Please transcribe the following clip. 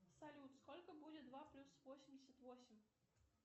салют сколько будет два плюс восемьдесят восемь